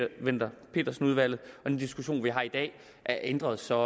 wendler pedersen udvalget og den diskussion vi har i dag er ændret så